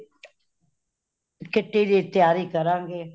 kitty ਦੀ ਤਿਆਰੀ ਕਾਰਾ ਗਏ